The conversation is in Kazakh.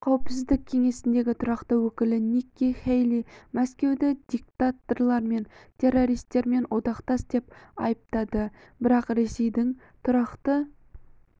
қауіпсіздік кеңесіндегі тұрақты өкілі никки хэйли мәскеуді диктаторлар мен террористермен одақтас деп айыптады бірақ ресейдің тұрақты